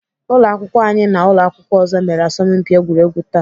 Ụlọakwụkwọ anyị na ụlọakwụkwọ ọzọ mere asọmpi egwuregwu taa